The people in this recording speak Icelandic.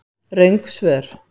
Röng svör